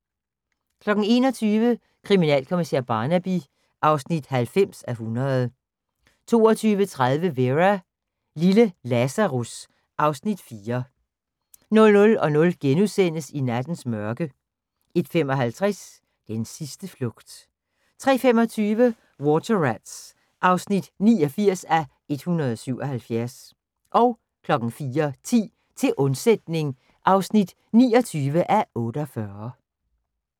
21:00: Kriminalkommissær Barnaby (90:100) 22:30: Vera: Lille Lazarus (Afs. 4) 00:00: I nattens mørke * 01:55: Den sidste flugt 03:25: Water Rats (89:177) 04:10: Til undsætning (29:48)